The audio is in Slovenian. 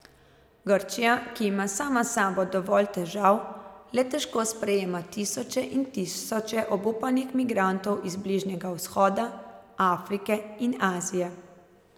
Grčija, ki ima sama s sabo dovolj težav, le težko sprejema tisoče in tisoče obupanih migrantov iz Bližnjega vzhoda, Afrike in Azije.